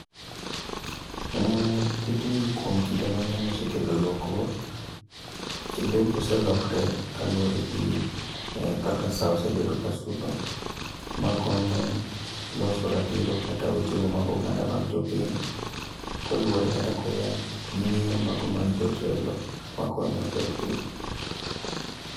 Tijni kuom kinde mang'eny osekelo lokruok, kendo embo selokre kaluwore gi kaka sa osebedo ka sudo. Ma konyo loso ratiro kata weche mag oganda mag jopiny, koluwore kata koya gi ng'eyo mago mag jotelo ma konyo gero piny.